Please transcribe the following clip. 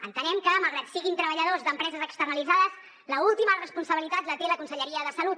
entenem que malgrat que siguin treballadors d’empreses externalitzades l’última responsabilitat la té la conselleria de salut